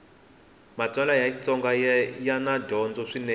matsalwa ya xitsonga yana dyondzo swinene